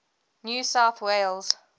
new south wales